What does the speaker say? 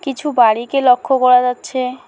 কিছু বাড়িকে লক্ষ করা যাচ্ছে।